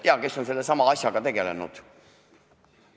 Jaa, kes on sellesama asjaga tegelenud.